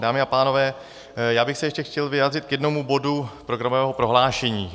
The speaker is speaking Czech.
Dámy a pánové, já bych se ještě chtěl vyjádřit k jednomu bodu programového prohlášení.